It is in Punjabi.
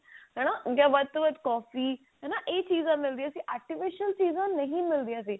ਹਨਾ ਜਾਂ ਵੱਧ ਤੋਂ ਵੱਧ ਕੋਫ਼ੀ ਹਨਾ ਇਹ ਚੀਜ਼ਾਂ ਮਿਲਦੀਆਂ ਸੀ artificial ਚੀਜ਼ਾਂ ਨਹੀ ਮਿਲਦੀਆਂ ਸੀ